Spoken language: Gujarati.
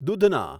દૂધના